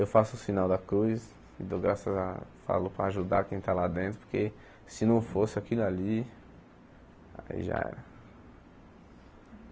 Eu faço o sinal da cruz e dou graças falo para ajudar quem está lá dentro, porque se não fosse aquilo ali, aí já era.